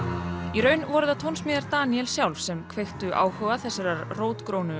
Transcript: í raun voru það tónsmíðar Daníels sjálfs sem kveiktu áhuga þessarar rótgrónu